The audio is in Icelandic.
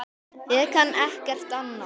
Ég kann ekkert annað.